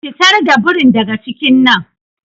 Fitar da birin daga cikin nan.